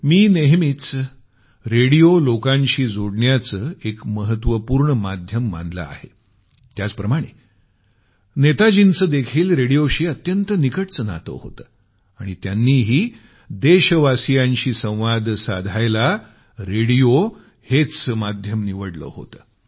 मी नेहमीच रेडिओ लोकांशी जोडण्याचं एक महत्वपूर्ण माध्यम मानल आहे त्याचप्रमाणे नेताजींचंदेखील रेडिओशी अत्यंत निकटचं नातं होतं आणि त्यांनीही देशवासियांशी संवाद साधण्यासाठी रेडिओ हेच माध्यम निवडलं होतं